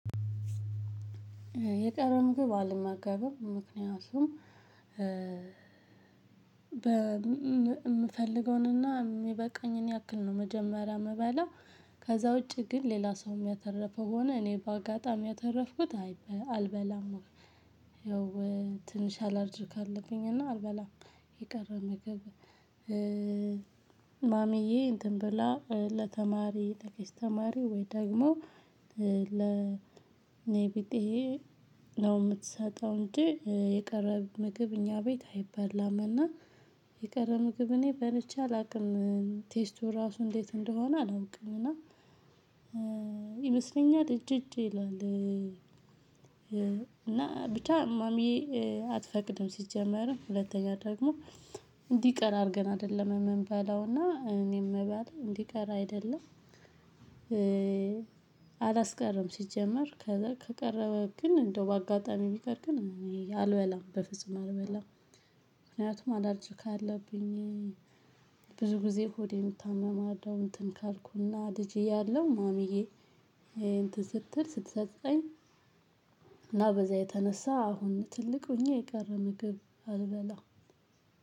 የቀረ ምግብ አልመገብም ምክንያቱም በ የምፈልገውንና የሚበቃኝን ያክል ነው መጀመሪያ ምበላው ከዛ ውጪ ግን ሌላ ሰውም ያተረፈ ሆነ እኔ በአጋጣሚ ያተረፍኩት አይ አልበላም ማለት ነው። ያው ትንሽ አላርጅክ አለብኝ እና አልበላም የቀረ ምግብ። ማሚዬ እንትን ብላ ለተማሪ ለቄስ ተማሪ ወይ ደግሞ ለኔቢጤ ነው የምትሰጠው እንጂ የቀረ ምግብ እኛ ቤት አይበላም። እና የቀረ ምግብ እኔ በልቼ አላውቅም። ቴስቱ ራሱ እንዴት እንደሆነ አላውቅም። እና ይመስለኛል እጅ እጅ ይላል እና ብቻ ማሚዬ አትፈቅድም ሲጀመርም ሁለተኛ ደግሞ እንዲቀር አድርገን አይደለም እምንበላውና እኔምበላው እንዲቀር አይደለም። አላስቀረም ሲጀመር ከቀረበ ግን እንደው በአጋጣሚ ቢቀር ግን አልበላም በፍጹም አልበላም። ምክንያቱም አላርጅክ አለብኝ። ብዙ ጊዜ ሆዴ እታመማለሁ እንትን ካልኩና ልጅ እያለው ማሚዬ እንትን ስትል ስትሰጠኝ እና በዛ የተነሳ አሁን ትልቅ ሆኜ የጋራ ንግድ አልበላ።